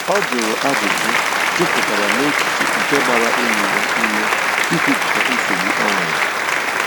Ọ jụrụ ajụjụ jupụtara n'echiche nke gbara enyi ya ume i kwupụta nsogbu o nwere.